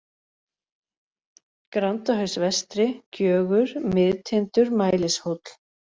Grandahaus vestri, Gjögur, Miðtindur, Mælishóll